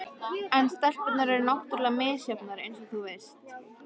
En stelpurnar eru náttúrlega misjafnar eins og þú veist.